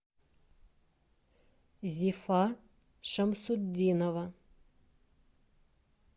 зифа шамсутдинова